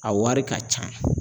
A wari ka can.